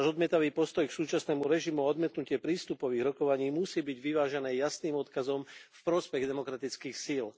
Náš odmietavý postoj k súčasnému režimu a odmietnutie prístupových rokovaní musí byť vyvážené jasným odkazom v prospech demokratických síl.